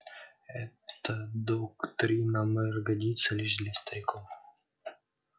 эта доктрина мэр годится лишь для стариков